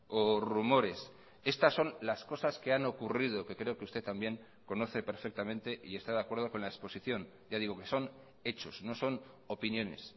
o rumores estas son las cosas que han ocurrido que creo que usted también conoce perfectamente y está de acuerdo con la exposición ya digo que son hechos no son opiniones